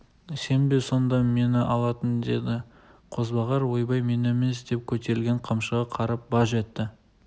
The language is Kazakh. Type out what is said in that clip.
сен бе сонда мені алатын деді қозбағар ойбай мен емес деп көтерілген қамшыға қарап баж етті